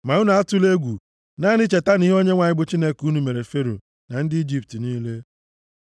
Ma unu atụla egwu! Naanị chetanụ ihe Onyenwe anyị bụ Chineke unu mere Fero na ndị Ijipt niile.